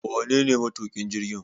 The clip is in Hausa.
Wanene matuƙin jirgin?